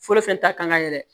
Foyi fɛn ta kan ka yɛlɛ